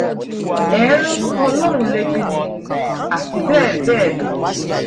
ẹ ń rán ọlọ́run létí ni àti bẹ́ẹ̀ bẹ́ẹ̀ lọ